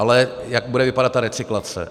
Ale jak bude vypadat ta recyklace?